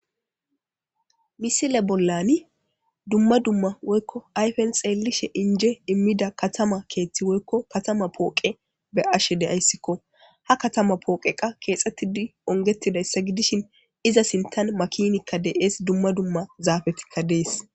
Misile bollan dumma dumma ayfen xeellishin injje immida katama keeththi woykko katama pooqe be'ashe de'ayssiko. Ha katama pooqey keexxetidi ongetidayssa gidishin iza sinttan makinikka de'es dumma dumma zaafetikka de'es.